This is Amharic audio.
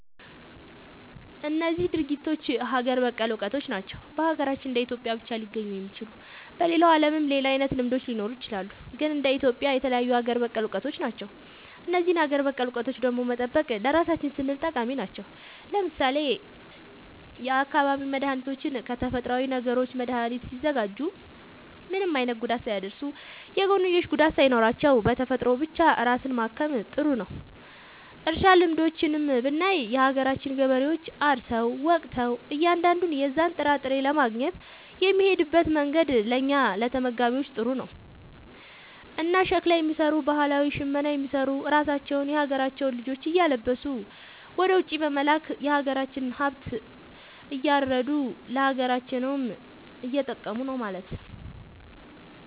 እነዚህ ድርጊቶች ሀገር በቀል እውቀቶች ናቸው። በሀገራችን እንደ ኢትዮጵያ ብቻ ሊገኙ የሚችሉ። በሌላው ዓለምም ሌላ አይነት ልምዶች ሊኖሩ ይችላሉ። ግን እንደ ኢትዮጵያ የተለዩ ሀገር በቀል እውቀቶች ናቸው። እነዚህን ሀገር በቀል እውቀቶች ደግሞ መጠበቅ ለራሳችን ስንል ጠቃሚ ናቸው። ለምሳሌ የአካባቢ መድኃኒቶችን ከተፈጥሮዊ ነገሮች መድኃኒት ሲያዘጋጁ ምንም አይነት ጉዳት ሳያደርሱ፣ የጎንዮሽ ጉዳት ሳይኖራቸው፣ በተፈጥሮ ብቻ ራስን ማከም ጥሩ ነዉ። እርሻ ልምዶችንም ብናይ የሀገራችን ገበሬዎች አርሰው ወቅተው እያንዳንዱን የዛን ጥራጥሬ ለማግኘት የሚሄድበት መንገድ ለእኛ ለተመጋቢዎች ጥሩ ነው። እና ሸክላ የሚሰሩ ባህላዊ ሽመና የሚሰሩ ራሳቸውን የሀገራቸውን ልጆች እያለበሱ ወደ ውጪ በመላክ የሀገራቸውን ሃብት እያረዱ ለሀገራቸውም እየጠቀሙ ነው ማለት።